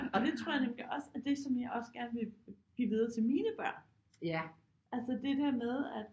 Og det tror jeg nemlig også er det som jeg også gerne vil give videre til mine børn altså det der med at